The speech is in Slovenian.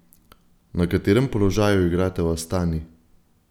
Na katerem položaju igrate v Astani?